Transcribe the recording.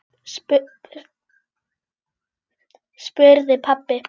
spurði pabbi.